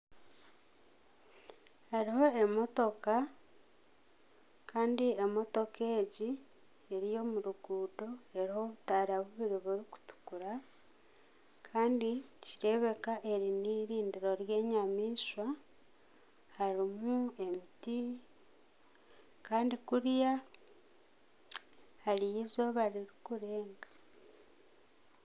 Hariho emotoka kandi emotoka egi, eri omu ruguuto eriho obutaara bubiri burikutukura kandi nikireebeka eri n'erindiro ry'enyamaishwa harimu emiti kandi kuriya hariyo eizooba ririkurenga